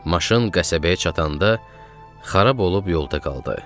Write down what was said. Maşın qəsəbəyə çatanda xarab olub yolda qaldı.